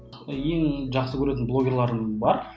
ең жақсы көретін блогерларым бар